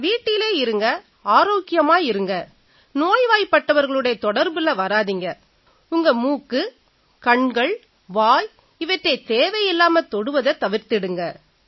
வீட்டிலேயே இருங்க ஆரோக்கியமா இருங்க நோய்வாய்ப்பட்டவர்களோட தொடர்புல வராதீங்க உங்க மூக்கு கண்கள் வாய் இவற்றைத் தேவையில்லாம தொடுவதை தவிர்த்திடுங்க